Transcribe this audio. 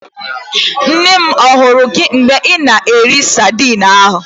Nne m ahụrụ gị mgbe ị na-eri sadin ahụ?